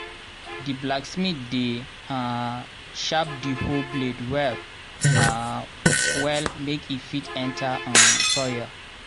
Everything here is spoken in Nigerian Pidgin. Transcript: di blacksmith dey um sharp di hoe blade well um well make e fit enter um soil.